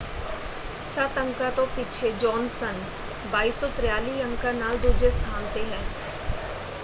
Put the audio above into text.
ਸੱਤ ਅੰਕਾਂ ਤੋਂ ਪਿੱਛੇ ਜੋਨਸਨ 2,243 ਅੰਕਾਂ ਨਾਲ ਦੂਜੇ ਸਥਾਨ ‘ਤੇ ਹੈ।